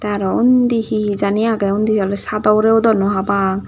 aro undi hehe jani age undi ole chado ugure udonnoi papang.